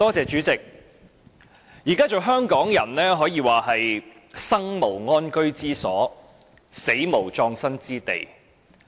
主席，現在做香港人可謂"生無安居之所，死無葬身之地"。